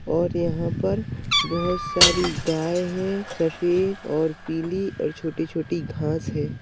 और यहाँ पर बहोत सारी गाय है सफेद और पीली और छोटी -छोटी घास है।